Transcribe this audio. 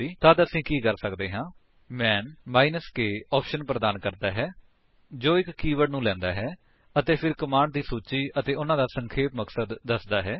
ਤੱਦ ਅਸੀ ਕੀ ਕਰ ਸਕਦੇ ਹਾਂ160 ਮੈਨ k ਆਪਸ਼ਨ ਪ੍ਰਦਾਨ ਕਰਦਾ ਹੈ ਜੋ ਇੱਕ ਕੀਵਰਡ ਨੂੰ ਲੈਂਦਾ ਹੈ ਅਤੇ ਫਿਰ ਕਮਾਂਡਸ ਦੀ ਸੂਚੀ ਅਤੇ ਉਨ੍ਹਾਂ ਦਾ ਸੰਖੇਪ ਮਕਸਦ ਦੱਸਦਾ ਹੈ